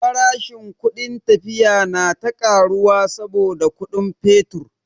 Farashin kudin tafiya na ta karuwa saboda kudin fetur.